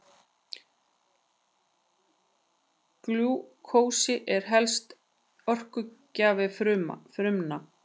Glúkósi er helsti orkugjafi frumna.